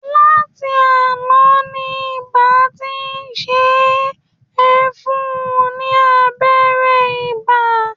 Láti àná ni iba ti ń ṣe é, ẹ fún-un lábẹ́rẹ́ ibà!